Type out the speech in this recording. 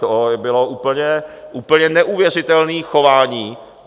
To bylo úplně neuvěřitelné chování.